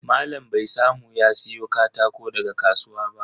Malam bai samu ya siya katako daga kasuwa ba.